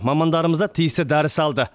мамандарымыз да тиісті дәріс алды